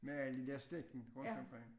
Med alle de der stikken rundt omkring